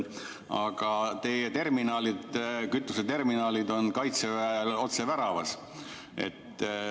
Aga teie terminalid, kütuseterminalid on kaitseväel otse väravas.